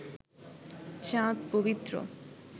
চাঁদ পবিত্র